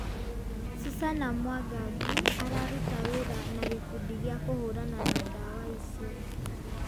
Susana Mwangangi araruta wĩra na gikundi gĩa kũhũranana na dawa icio